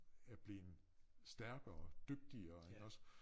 Er blevet stærkere dygtigere iggås